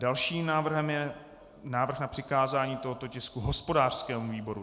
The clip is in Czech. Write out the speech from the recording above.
Dalším návrhem je návrh na přikázání tohoto tisku hospodářskému výboru.